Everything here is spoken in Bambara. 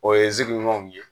O ye